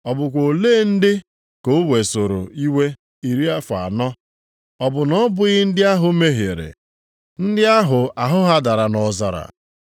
Ọ bụkwa olee ndị ka o wesoro iwe iri afọ anọ? Ọ bụ na ọ bụghị ndị ahụ mehiere. Ndị ahụ ahụ ha dara nʼọzara?